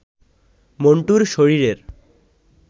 মন্টুর শরীরের